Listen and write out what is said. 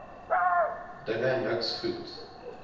dinge niks goed